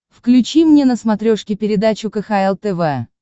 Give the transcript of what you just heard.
включи мне на смотрешке передачу кхл тв